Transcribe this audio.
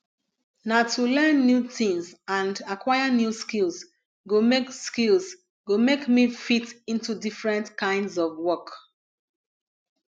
na to learn new tings and aquire new skills go make skills go make me fit into different kinds of work